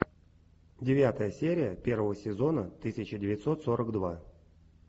девятая серия первого сезона тысяча девятьсот сорок два